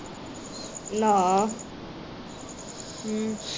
ਨਾ